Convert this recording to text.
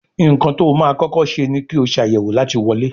Nkán tó má kókó ṣe ní kio Ṣàyẹ̀wò láti wọlé.